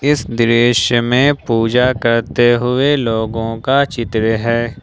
इस दृश्य में पूजा करते हुए लोगों का चित्र है।